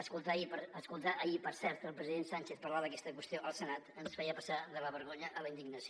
escoltar ahir per cert el president sánchez parlar d’aquesta qüestió al senat ens feia passar de la vergonya a la indignació